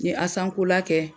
N ye Asankola kɛ.